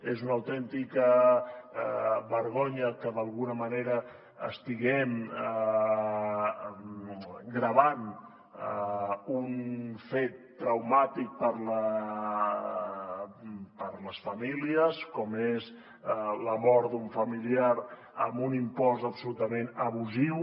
és una autèntica vergonya que d’alguna manera estiguem gravant un fet traumàtic per a les famílies com és la mort d’un familiar amb un impost absolutament abusiu